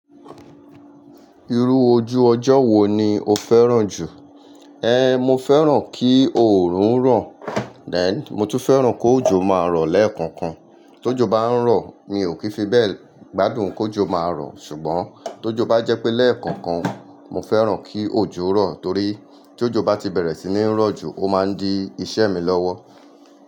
Irú ojú ọjọ́ wo ni o fẹ́ràn jù? Mo fẹ́ràn kí òòrùn ran, then mo tún fẹ́ràn k' òjò máa rọ̀ lẹ́ẹ̀kọ̀kan. T' òjò bá ń rọ̀, mi ò kí fi bẹ́ẹ̀ gbádùn k' òjò máa rọ̀, ṣùgbọ́n t' òjò bá jẹ́ pé lẹ́ẹ̀kọ̀kan, mo fẹ́ràn kí òjò rọ̀ torí t' òjò bá ti bẹ̀rẹ̀ sí ní rọ̀ jù, ó máa ń di iṣẹ́ mi lọ́wọ́.